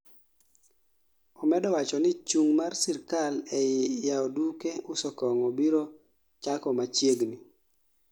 Omedo wacho ni Chung' mar sirkal ei yao duke uso kong'o biro chako machiegni